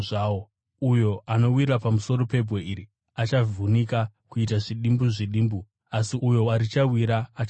Uyo anowira pamusoro pebwe iri achavhunika kuita zvidimbu zvidimbu asi uyo warichawira achapwanyiwa.”